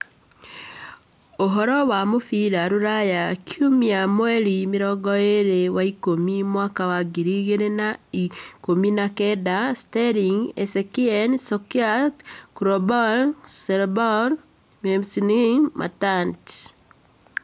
Ũhoro wa mũbira rũraya kiumia mweri mĩrongo ĩĩrĩ wa-ikũmi mwaka wa ngiri igĩrĩ na ikũmi na kenda: Sterling, Eriksen, Solskjaer, Koulibaly, Ceballos, McGinn, Matic